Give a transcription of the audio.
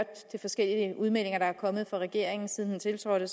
de forskellige udmeldinger der er kommet fra regeringen siden den tiltrådte